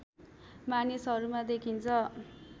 मानिसहरूमा देखिन्छ